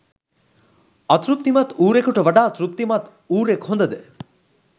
අතෘප්තිමත් ඌරෙකුට වඩා තෘප්තිමත් ඌරෙක් හොඳ ද?